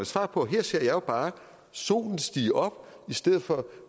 svar på her ser jeg bare solen stige op i stedet for